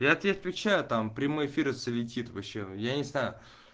я тебе отвечаю там прямой эфир светит вообще я не знаю